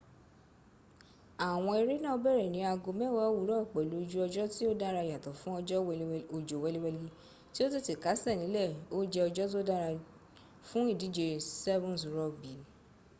àwọn eré náà bẹ̀rẹ̀ ní aago mẹ́wàá òwúrọ̀ pẹ̀lú ojú ọjọ́ tí ó dára yàtọ̀ fún òjò wẹliwẹli tí ó tètè kásẹ̀ nílẹ̀ ó jẹ́ ọjọ́ tó dára fún ìdíje 7's rugby